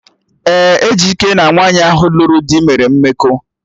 Ee, Ejike na nwaanyị ahụ lụrụ do mere mmekọahụ